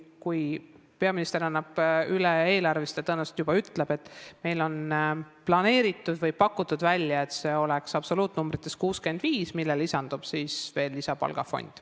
Kui peaminister annab eelarve üle, siis ta tõenäoliselt ütleb, et meil on planeeritud või pakutud, et absoluutnumbrites oleks see 65 eurot, millele lisandub veel lisapalgafond.